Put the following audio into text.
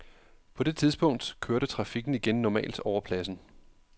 På det tidspunkt kørte trafikken igen normalt over pladsen.